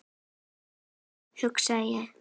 Æ, nei hugsa ég.